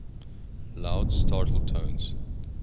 loud startle tones